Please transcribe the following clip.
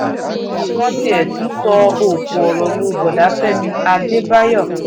àwọn kan tiẹ̀ tún sọ̀ òkò ọ̀rọ̀ lu bóoda fẹ̀mí àdèbáyò